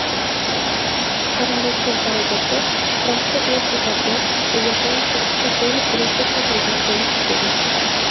qarindoshlik darajasi) transport vositasi egasining sug‘urta polisida ko‘rsatilgan bo‘lishi kerak.